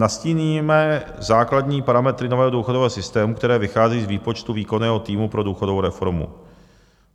Nastíníme základní parametry nového důchodového systému, které vychází z výpočtu výkonného týmu pro důchodovou reformu.